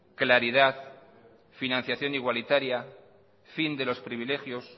claridad financiación igualitaria fin de los privilegios